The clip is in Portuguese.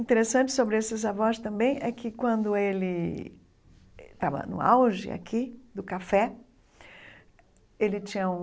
Interessante sobre esses avós também é que quando ele estava no auge aqui, do café, ele tinha um...